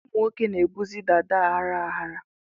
Ụmụ nwoke na-ebuzi dàdá aghara aghara.